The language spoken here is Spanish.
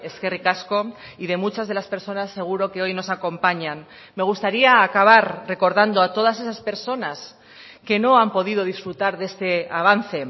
eskerrik asko y de muchas de las personas seguro que hoy nos acompañan me gustaría acabar recordando a todas esas personas que no han podido disfrutar de este avance